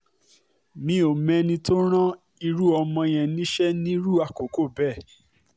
mi ò mọ ẹni tó rán irú ọmọ yẹn níṣẹ́ nírú àkókò bẹ́ẹ̀